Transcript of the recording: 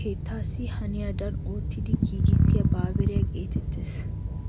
keettaassi haniyadan oottidi gigissiya baabiriya geetettees.